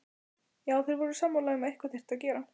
Já, þeir voru sammála um að eitthvað þyrfti að gera.